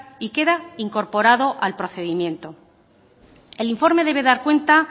y queda incorporado al procedimiento el informe debe dar cuenta